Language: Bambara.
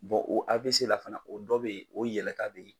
o AVC la fana o dɔ bɛ yen o yɛlɛta bɛ yen